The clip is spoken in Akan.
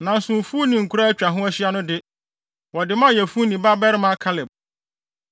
Nanso mfuw ne nkuraa a atwa ho ahyia no de, wɔde maa Yefune babarima Kaleb.